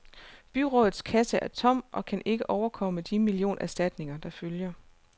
Byrådets kasse er tom og kan ikke overkomme de millionerstatninger, der følger.